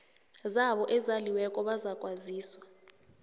zabo ezaliweko bazakwaziswa